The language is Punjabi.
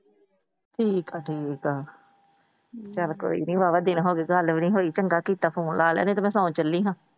ਠੀਕ ਆ ਠੀਕ ਆ। ਚੱਲ ਕੋਈ ਨਹੀਂ ਹੋਲਾ ਦਿਲ ਹੋ ਜਾਊਗਾ ਗੱਲ ਵੀ ਨਹੀਂ ਹੋਈ ਚੰਗਾ ਕੀਤਾ Phone ਲੈ ਲਿਆ ਨਹੀਂ ਤਾਂ ਮੈ ਨਾਹਨ ਚੱਲੀ ਸਾ।